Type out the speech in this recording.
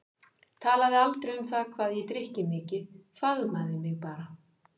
Talaði aldrei um það hvað ég drykki mikið, faðmaði mig bara.